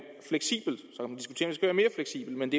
fleksibelt men